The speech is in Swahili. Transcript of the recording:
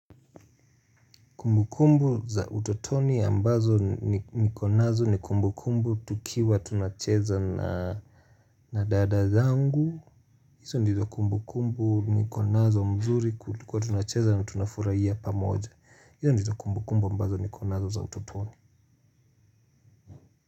Kumbu kumbu za utotoni ambazo nikonazo nikumbu kumbu tukiwa tunacheza na dada zangu. Hizo ndizo kumbu kumbu nikonazo mzuri tulikuwa tunacheza na tunafurahiya pamoja. Hizo ndizo kumbu kumbu ambazo nikonazo za utotoni.